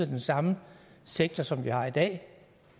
den samme sektor som vi har i dag